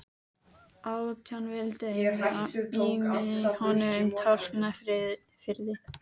Átján vildu eiga mig í honum Tálknafirði.